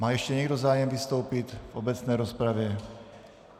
Má ještě někdo zájem vystoupit v obecné rozpravě?